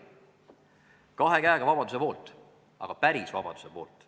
Me oleme kahe käega vabaduse poolt, aga päris vabaduse poolt.